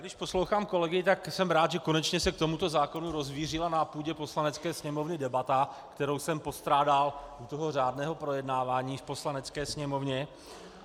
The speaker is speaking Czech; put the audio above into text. Když poslouchám kolegy, tak jsem rád, že se konečně k tomuto zákonu rozvířila na půdě Poslanecké sněmovny debata, kterou jsem postrádal u toho řádného projednávání v Poslanecké sněmovně.